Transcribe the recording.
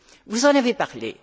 Vous en avez parlé.